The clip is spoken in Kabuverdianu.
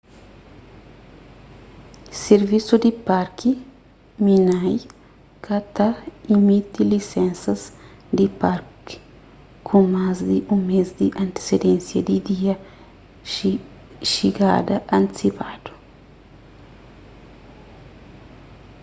sirvisu di parki minae ka ta imiti lisensas di parki ku más di un mês di antesidênsia di dia xigada antisipadu